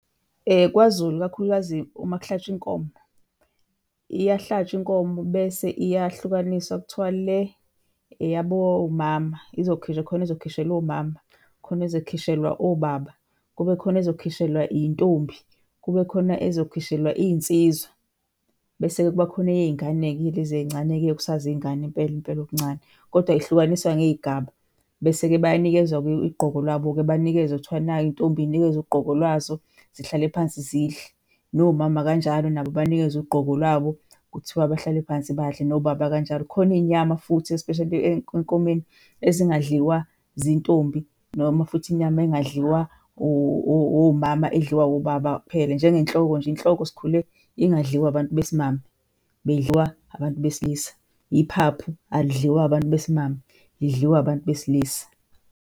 KwaZulu, ikakhulukazi uma kuhlatshwa inkomo, iyahlatshwa inkomo bese iyahlukaniswa kuthiwa le eyabomama, izokhishwa, khona ezokhishelwa omama, khona ezokhishelwa obaba, kube khona ezokhishelwa iy'ntombi, kube khona ezokhishelwa iy'nsizwa bese-ke kuba khona eyey'ngane-ke lezi ey'ncane-ke, okusazingane impela impela okuncane. Kodwa ihlukaniswa ngey'gaba bese-ke bayanikezwa ugqoko lwabo banikezwa kuthiwa nayi iy'ntombi zinikezwe ugqobo lwazo zihlale phansi zidle, nomama kanjalo nabo banikezwe ugqobo lwabo kuthiwa abahlale phansi badle, nobaba kanjalo. Kukhona iy'nyama futhi especially enkomeni ezingadliwa zintombi noma futhi inyama engadliwa omama edliwa obaba kuphela njengenhloko nje, inhloko sikhule ingadliwa abantu besimame, beyidliwa abantu besilisa. Yiphaphu alidliwa abantu besimame, lidliwa abantu besilisa.